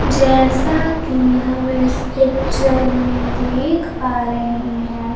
जैसा कि हम इस पिक्चर में देख पा रहे हैं।